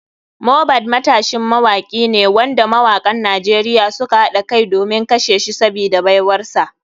Mohbad matashin mawaki ne wanda mawakan nigeria suka haɗa kai domin kashe shi sabida baiwarsa.